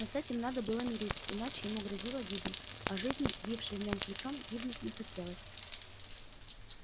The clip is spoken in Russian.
но с этим надо было мириться иначе ему грозила гибель а жизни бившей в нём ключом гибнуть не хотелось